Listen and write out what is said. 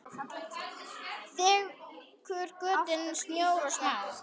Þekur götin stór og smá.